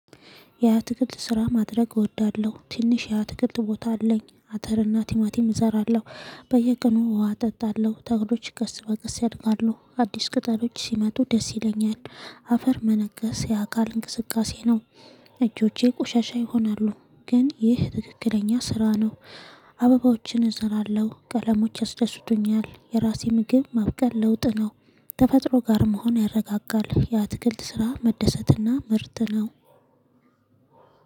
የትክልት ስራ ማድረግ እወዳለሁ ትንሽ ያ ትክልት ቦታ አለኝ አተርና ቲማቲም እዘራለሁ በየቀኑ ውሃ እጠጣለሁ ተግዶች ከስ በቀስ ያድጋሉ አዲስ ቅጠሎች ሲመጡ ደስ ይለኛል አፈር መነገስ የአካል እንቅስቃሴ ነው እጆቼ ቆሻሻ ይሆናሉ ግን ይህ ትክክለኛ ስራ ነው አበባዎችን እዘራለሁ። ቀለሞች ያስደስቱኛል። የራሴ ምግብ ማብቀል ለውጥ ነው። ተፈጥሮ ጋር መሆን ያረጋጋል። የአትክልት ስራ መደሰትና ምርጥ ነው።